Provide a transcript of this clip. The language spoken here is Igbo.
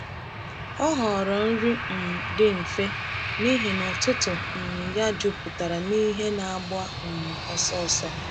Ọ họọrọ nri um dị mfe n’ihi na ụtụtụ um ya jupụtara n’ihe na-agba um ọsọ ọsọ.